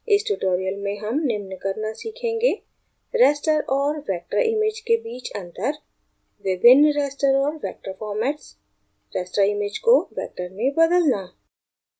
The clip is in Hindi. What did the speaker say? इस tutorial में हम निम्न करना सीखेंगे: raster और vector image के बीच अंतर विभिन्न raster और vector formats raster image को vector में बदलना